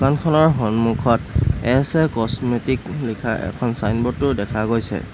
সন্মুখত S A cosmetic লিখা এখন চাইনবোৰ্ডও দেখা গৈছে।